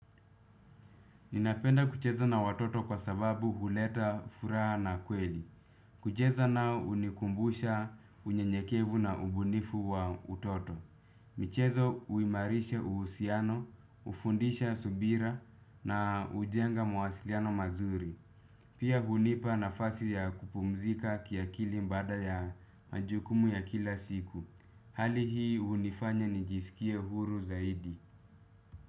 Ninapenda kucheza na watoto kwa sababu huleta furaha na kweli. Kucheza nao hunikumbusha unyenyekevu na ubunifu wa utoto. Michezo huimarisha uhusiano, hufundisha subira na hujenga mawasiliano mazuri. Pia hunipa nafasi ya kupumzika kiakili baada ya majukumu ya kila siku. Hali hii hunifanya nijisikie huru zaidi.